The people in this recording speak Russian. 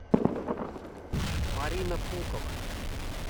марина пухова